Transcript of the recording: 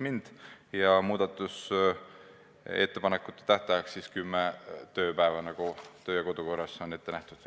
mind ja määrata muudatusettepanekute esitamise tähtajaks kümme tööpäeva, nagu kodu- ja töökorra seaduses on ette nähtud.